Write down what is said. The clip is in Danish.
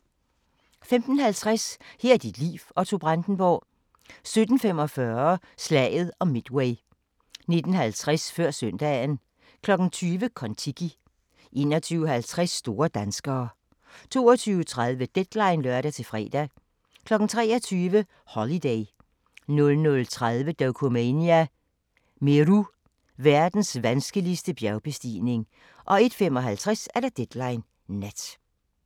15:50: Her er dit liv – Otto Brandenburg 17:45: Slaget om Midway 19:50: Før søndagen 20:00: Kon-Tiki 21:50: Store danskere 22:30: Deadline (lør-fre) 23:00: Holiday 00:30: Dokumania: Meru – verdens vanskeligste bjergbestigning 01:55: Deadline Nat